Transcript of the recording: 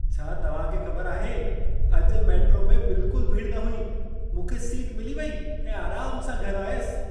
छा तव्हां खे ख़बर आहे, अॼु मेट्रो में बिल्कुलु भीड़ न हुई? मूंखे सीट मिली वेई ऐं आराम सां घरि आयसि।